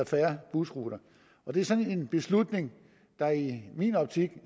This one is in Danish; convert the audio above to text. færre busruter det er sådan en beslutning der i min optik